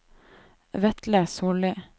Vetle Sollie